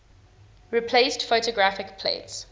replaced photographic plates